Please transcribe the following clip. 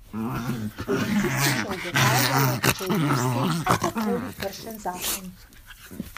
Policisti še ugotavljajo, če je bil s tem kakorkoli kršen zakon.